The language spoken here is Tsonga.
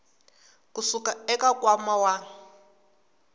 ku suka eka nkwama wa